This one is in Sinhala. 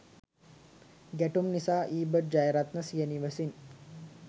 ගැටුම් නිසා ඊබට්‌ ජයරත්න සිය නිවසින්